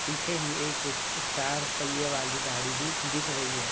पीछे ही एक चार पहिए वाली गाड़ी भी दिख रही है।